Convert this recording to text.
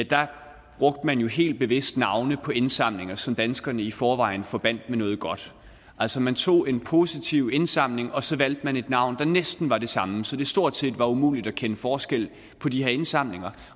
der brugte man jo helt bevidst navne på indsamlinger som danskerne i forvejen forbandt med noget godt altså man tog en positiv indsamling og så valgte man et navn der næsten var det samme så det stort set var umuligt at kende forskel på de her indsamlinger